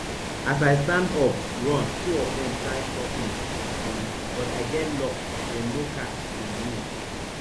as i stand up run two of dem try stop me um but i get luck dem no catch um me